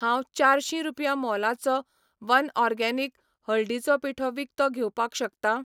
हांव चारशीं रुपया मोलाचो वनऑर्गेनिक, हळदीचो पिठो विकतो घेवपाक शकता?